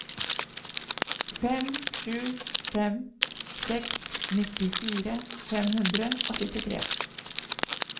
fem sju fem seks nittifire fem hundre og syttitre